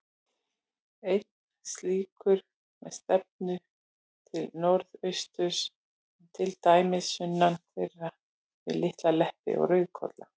Einn slíkur, með stefnu til norðausturs, er til dæmis sunnan þeirra, við Litla-Leppi og Rauðkolla.